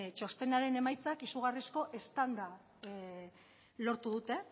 txostenaren emaitzak izugarrizko eztanda lortu dute